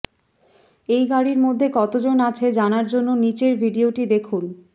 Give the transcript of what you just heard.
এই গাড়ির মধ্যে কতজন আছে জানার জন্য নিচের ভিডিওটি দেখুন